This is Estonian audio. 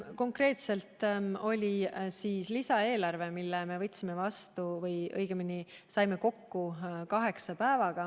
Konkreetselt oli põhjus lisaeelarves, mille me võtsime vastu või õigemini saime kokku kaheksa päevaga.